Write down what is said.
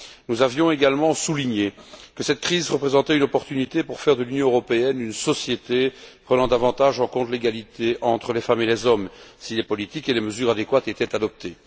Nous avions également souligné que cette crise représentait une opportunité pour faire de l'Union européenne une société prenant davantage en compte l'égalité entre les femmes et les hommes si les politiques et les mesures adéquates étaient adoptées.